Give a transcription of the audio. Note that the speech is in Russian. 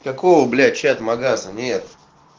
какова блять чат магаза нет